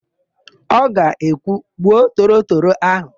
Ọ ga-ekwu, "gbuo torotoro áhụ̀"!